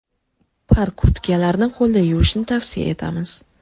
Par kurtkalarni qo‘lda yuvishni tavsiya etamiz.